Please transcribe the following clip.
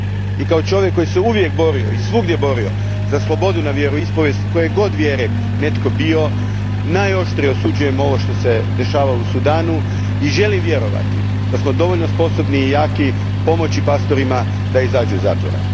I kao čovjek koji se uvijek i svugdje borio za slobodu na vjeroispovijest, koje god vjere netko bio, najoštrije osuđujem ovo što se dogodilo u Sudanu i želim vjerovati da smo dovoljno sposobni i jaki pomoći pastorima da izađu iz zatvora.